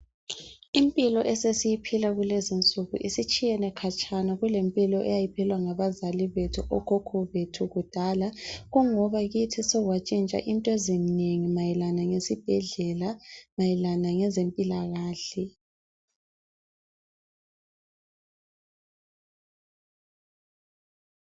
Impilo esesiyiphila kulezi insuku isitshiyene khatshana kulempilo eyayi philwa ngabazali bethu okhokho bethu kudala. Kungoba kithi sekwatshintsha into ezinengi mayelana lesibhedlela mayelana lezempilakahle.